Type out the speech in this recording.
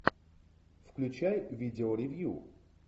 включай видео ревью